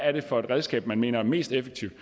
er for et redskab man mener er mest effektivt at